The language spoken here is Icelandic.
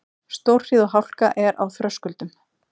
Stórhríð og hálka er á Þröskuldum